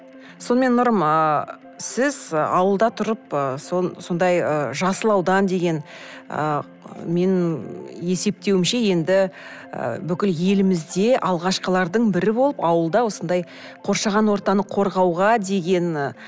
сонымен нұрым ыыы сіз ы ауылда тұрып ы сондай ы жасыл аудан деген ы менің есептеуімше енді ы бүкіл елімізде алғашқылардың бірі болып ауылда осындай қоршаған ортаны қорғауға деген ы